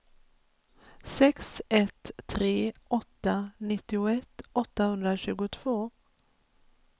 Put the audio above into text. sex ett tre åtta nittioett åttahundratjugotvå